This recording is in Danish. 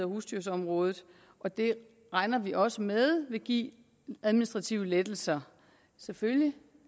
husdyrområdet og det regner vi også med vil give administrative lettelser selvfølgelig